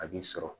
A b'i sɔrɔ